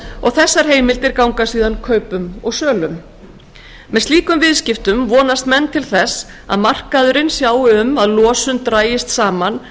og þessar heimildir ganga síðan kaupum og sölum með slíkum viðskiptum vonast menn til þess að markaðurinn sjái um að losun dragist saman